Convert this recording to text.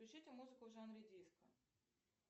включите музыку в жанре диско